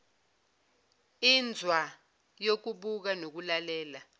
inzwa yokubuka nokulalela